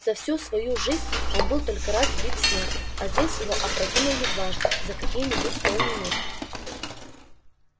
за всю вою жизнь он только раз был сбит с ног а здесь его опрокинули дважды за какие нибудь полминуты